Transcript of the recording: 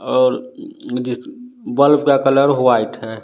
और जिस बल्ब का कलर होआइट है।